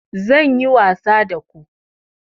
Zan yi wasa da ku